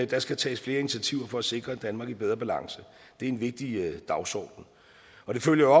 der skal tages flere initiativer for at sikre et danmark i bedre balance det er en vigtig dagsorden og det følger